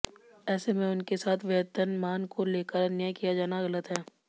ऐसे में उनके साथ वेतनमान को लेकर अन्याय किया जाना गलत है